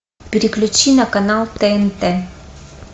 переключи на канал тнт